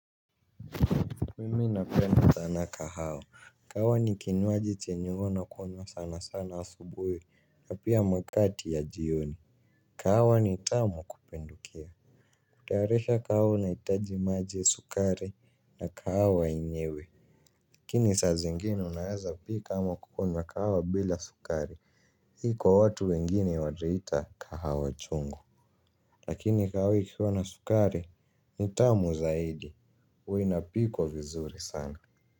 Mimi napenda sana kahawa, kahawa ni kinywaji chenye huwa nakunywa sana sana asubuhi na pia nyakati ya jioni. Kahawa ni tamu kupindukia, kutaarisha kahawa unahitaji maji, sukari na kahawa yenyewe. Lakini saa zingine unaweza pika ama kunywa kahawa bila sukari, hii kwa watu wengine wanaita kahawa chungu. Lakini kahawa ikiwa na sukari ni tamu zaid, huwa inapikwa vizuri sana.